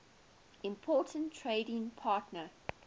important trading partner